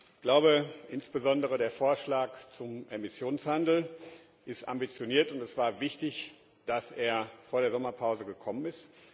Ich glaube, insbesondere der Vorschlag zum Emissionshandel ist ambitioniert, und es war wichtig, dass er vor der Sommerpause gekommen ist.